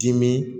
Dimi